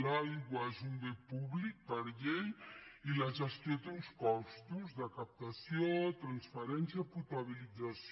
l’aigua és un bé públic per llei i la gestió té uns costos de captació transferència potabilització